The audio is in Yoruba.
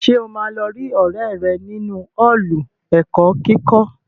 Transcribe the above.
Ṣé o máa lọ rí ọrẹ rẹ nínu Ọ́ọ̀lù ẹ̀kọ́ kíkọ́?